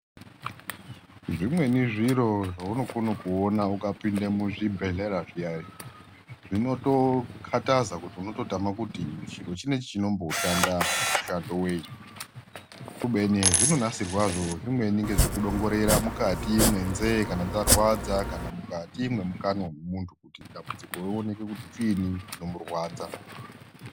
Zvimweni zviro zvaunokona kuona ukapinda muzvibhehlera zviyani zvinokotakaza kuti chiro chinechi chinonboshanda mushando wei kubeni hezvinonasirwazvo zvimweni ndezvekudongorera mukati mwenzeye kana dzarwadza, kana mukati mwemukanwa mwemuntu kuti dambudziko rioneke kuti chiini chinomurwadza.